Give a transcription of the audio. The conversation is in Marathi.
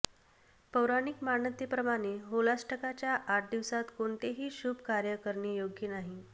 पौराणिक मान्यतेप्रमाणे होलाष्टकाच्या आठ दिवसात कोणतेही शुभ कार्य करणे योग्य नाही